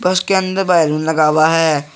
बस के अंदर बैलून लगा हुआ है।